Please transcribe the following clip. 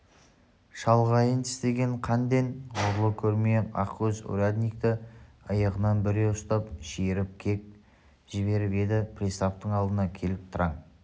шалғайын тістеген қанден ғұрлы көрмей ақкөз урядникті иығынан бүре ұстап шиіріп кеп жіберіп еді приставтың алдына келіп тыраң